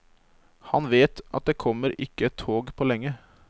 Han vet at det kommer ikke et tog på lenge.